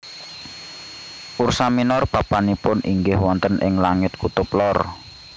Ursa minor papanipun inggih wonten ing langit kutub lor